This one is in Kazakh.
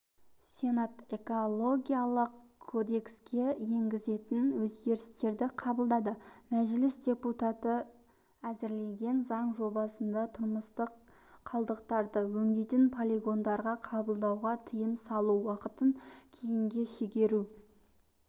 сенат экологиялық кодекске енгізілетін өзгерістерді қабылдады мәжіліс депутаттары әзірлеген заң жобасында тұрмыстық қалдықтарды өңдемей полигондарға қабылдауға тыйым салу уақытын кейінге шегеру